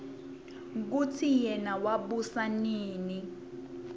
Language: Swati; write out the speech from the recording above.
kutsi yena wabusa nini